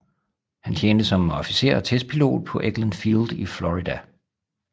Han tjente som officer og testpilot på Eglin Field i Florida